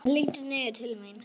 Hann lítur niður til mín.